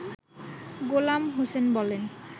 গোলাম হোসেন বলেন